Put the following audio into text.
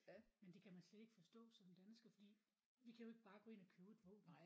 Men det kan man slet ikke forstå som dansker fordi vi kan jo ikke bare gå ind og købe et våben